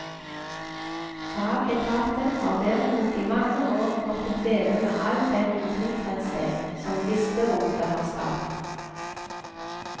Fagetaten har derimot i mange år måttet leve med all den utilfredshet som listerotet har skapt.